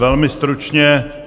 Velmi stručně.